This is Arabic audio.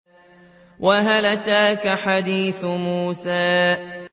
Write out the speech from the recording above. وَهَلْ أَتَاكَ حَدِيثُ مُوسَىٰ